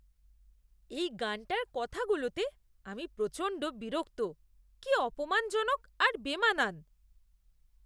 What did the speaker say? এই গানটার কথাগুলোতে আমি প্রচণ্ড বিরক্ত। কি অপমানজনক আর বেমানান!